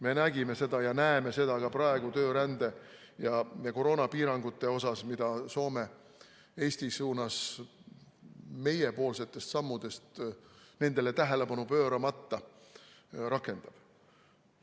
Me nägime seda ja näeme seda ka praegu töörände ja koroonapiirangute puhul, mida Soome Eestile meie sammudele tähelepanu pööramata rakendab.